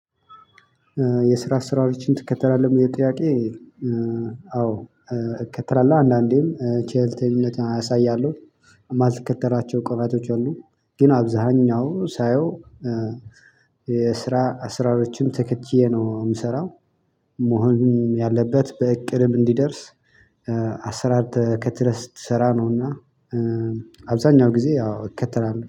የስራ አሰራሮችን ትከተላለህ ለሚለው ጥያቄ? አዎ። እከተላለሁ አንዳንዴም ቼልተኝነት አሳያለሁ እማልከተራቸው ቀናቶች አሉ ግን አብዛኛው ሳየው የስራ አስራሮችን ተከትዬ ነው የምሰራው። መሆን ያለበት በእቅድም እንዲደርስ። አሰራር ተከትለህ ስትሰራ ነው እና አብዛኛው ጊዜ ያው እከተላለሁ